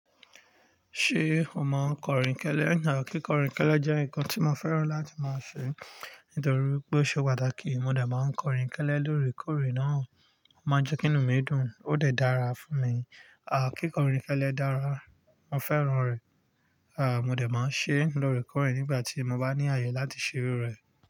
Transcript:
Ṣé o máa ń kọ̀rínkẹ́lẹ́? Kíkọ̀rínkẹ́lẹ́ jẹ́ nǹkan tí mo fẹ́ràn láti máa ṣe nítorí pé ó ṣe pàtàkì. Mo dà máa ń kọ̀rínkẹ́lẹ́ lóòrèkóòrè náà. Ó máa ń jẹ́ kí inú mi dùn, ó dà dára fún mi. À, kíkọ̀rínkẹ́lẹ́ dára, mo fẹ́ràn rẹ̀. À, mo de máa ń ṣe é lóòrèkóòrè nígbà tí mo bá ní àyè láti ṣe iru rẹ̀.